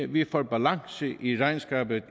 vi får en balance i regnskabet